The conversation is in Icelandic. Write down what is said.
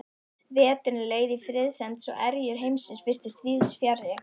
Veturinn leið í friðsemd svo erjur heimsins virtust víðsfjarri.